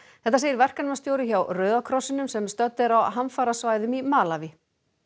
þetta segir verkefnastjóri hjá Rauða krossinum sem stödd er á hamfarasvæðum í Malaví